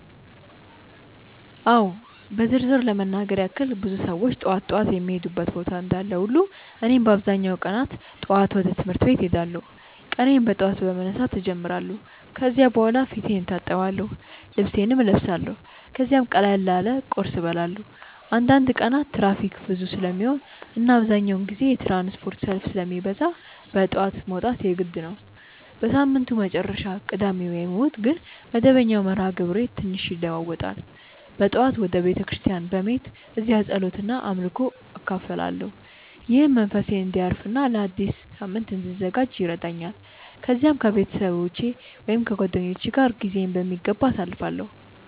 አዎ በዝርዝር ለመናገር ያክል ብዙ ሰዎች ጠዋት ጠዋት የሚሄዱበት ቦታ እንዳለ ሁሉ እኔም በአብዛኛው ቀናት ጠዋት ወደ ትምህርት ቤት እሄዳለሁ። ቀኔን በጠዋት በመነሳት እጀምራለሁ ከዚያ በኋላ ፊቴን እታጠብአለሁ፣ ልብሴን እለብሳለሁ ከዚያም ቀላል ቁርስ እበላለሁ። አንዳንድ ቀናት ትራፊክ ብዙ ስለሚሆን እና አብዛኛውን ጊዜ የትራንስፖርት ሰልፍ ስለሚበዛ በጠዋት መውጣት የግድ ነው። በሳምንቱ መጨረሻ (ቅዳሜ ወይም እሁድ) ግን መደበኛው መርሃ ግብሬ ትንሽ ይለዋዋጣል። በጠዋት ወደ ቤተ ክርስቲያን በመሄድ እዚያ ጸሎት እና አምልኮ እካፈላለሁ፣ ይህም መንፈሴን እንዲያርፍ እና ለአዲስ ሳምንት እንድዘጋጅ ይረዳኛል። ከዚያም ከቤተሰብ ወይም ከጓደኞች ጋር ጊዜዬን በሚገባ አሳልፋለሁ።